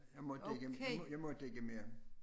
Jeg måtte ikke jeg jeg måtte ikke mere